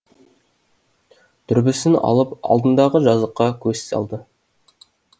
дүрбісін алып алдындағы жазыққа көз салды